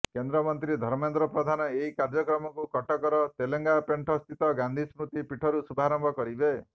କେନ୍ଦ୍ରମନ୍ତ୍ରୀ ଧର୍ମେନ୍ଦ୍ର ପ୍ରଧାନ ଏହି କାର୍ଯ୍ୟକ୍ରମକୁ କଟକର ତେଲେଙ୍ଗାପେଣ୍ଠ ସ୍ଥିତ ଗାନ୍ଧି ସ୍ମୃତି ପୀଠରୁ ଶୁଭାରମ୍ଭ କରିବେ